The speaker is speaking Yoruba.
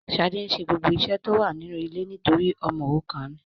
Shade nse gbogbo ise ile to wa ninu ile nitori omo orukan ni